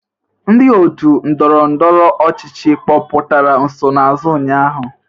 Ndị otu ndọrọndọrọ ọchịchị kpọpụtara nsonaazụ ụnyaahụ?